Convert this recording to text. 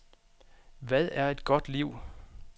Hvad er et godt liv?